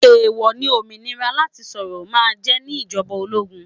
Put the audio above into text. Èwò ní òmìnira àti sọ̀rọ̀ máa jẹ ní ìjọba ológun.